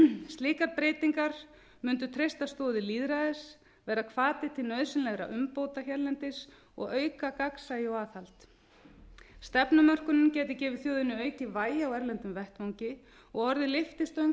slíkar breytingar mundu treysta stoðir lýðræðis verða hvati til nauðsynlegra umbóta hérlendis og auka gagnsæi og aðhald stefnumörkunin gæti gefið þjóðinni aukið vægi á erlendum vettvangi og orðið lyftistöng